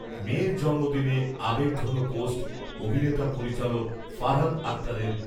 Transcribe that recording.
মেয়ের জন্মদিনে আবেগঘন পোস্ট অভিনেতা পরিচালক ফারহান আখতারের